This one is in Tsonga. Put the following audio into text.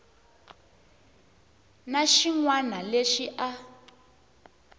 na xin wana lexi a